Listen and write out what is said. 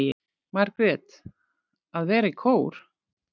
Margrét: Að vera í kór.